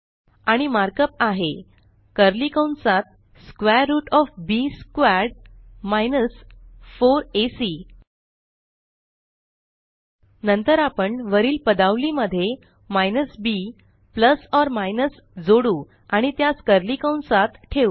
आणि मार्कअप आहे कर्ली कंसात square root O F B squared 4एसी नंतर आपण वरील पदावली मध्ये minus B plus or minus जोडू आणि त्यास कर्ली कंसात ठेवू